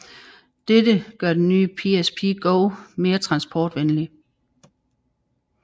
Dette gør den nye PSP Go mere transportvenlig